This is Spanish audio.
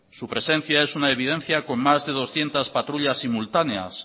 su presencia es una evidencia con más de doscientos patrullas simultáneas